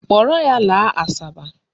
Kpọrọ ya laa Asaba.